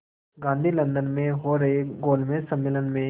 Gandhi London में हो रहे गोलमेज़ सम्मेलन में